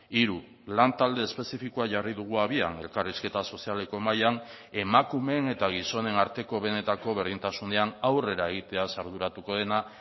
hiru lantalde espezifikoa jarri dugu abian elkarrizketa sozialeko mahaian emakumeen eta gizonen arteko benetako berdintasunean aurrera egiteaz arduratuko dena